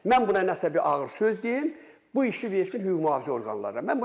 Mən buna nəsə bir ağır söz deyim, bu işi versin hüquq mühafizə orqanlarına.